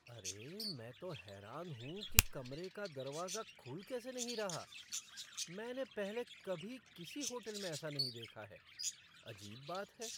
अरे, मैं तो हैरान हूँ कि कमरे का दरवाजा खुल कैसे नहीं रहा! मैंने पहले कभी किसी होटल में ऐसा नहीं देखा है। अजीब बात है!